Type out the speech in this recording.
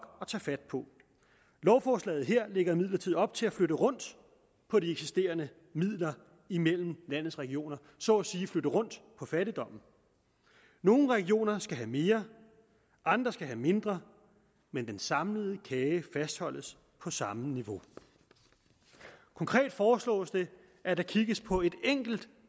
at tage fat på lovforslaget her lægger imidlertid op til at flytte rundt på de eksisterende midler imellem landets regioner og så at sige flytte rundt på fattigdommen nogle regioner skal have mere andre skal have mindre men den samlede kage fastholdes på samme niveau konkret foreslås det at der kigges på et enkelt